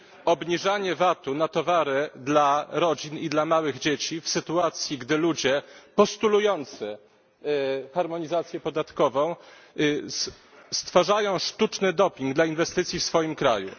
obniżanie VAT u na towary dla rodzin i dla małych dzieci w sytuacji, gdy ludzie postulujący harmonizację podatkową stwarzają sztuczny doping dla inwestycji w swoim kraju?